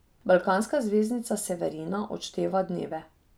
Balkanska zvezdnica Severina odšteva dneve.